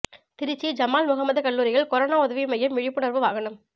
திருச்சி ஜமால் முகமது கல்லூரியில் கொரோனா உதவி மையம் விழிப்புணர்வு வாகனம்